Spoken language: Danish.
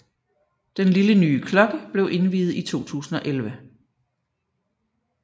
Den lille nye klokke blev indviet i 2011